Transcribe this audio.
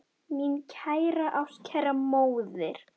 Mín kæra, ástkæra móðir.